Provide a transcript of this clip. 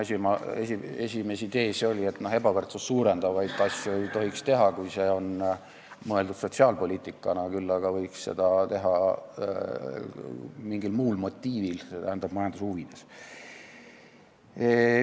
Mu esimesi teese oli, et ebavõrdsust suurendavaid asju ei tohiks teha, kui see on mõeldud sotsiaalpoliitikana, küll aga võiks seda teha mingil muul motiivil, st majanduse huvides.